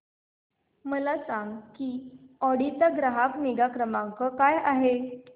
मला सांग की ऑडी चा ग्राहक निगा क्रमांक काय आहे